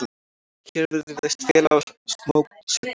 Hér virðist felast mótsögn.